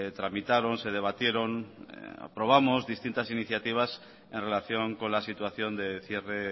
tramitaron o se debatieron distintas iniciativas en relación con la situación del cierre